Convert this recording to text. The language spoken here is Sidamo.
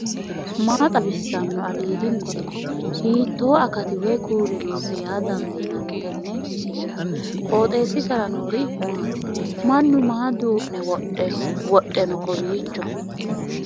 maa xawissanno aliidi misile ? hiitto akati woy kuuli noose yaa dandiinanni tenne misilera? qooxeessisera noori maati ? mannu maa duu'ne wodhe no kowiicho